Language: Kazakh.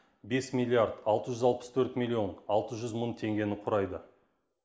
бес миллиард алты жүз алпыс төрт миллион алты жүз мың теңгені құрайды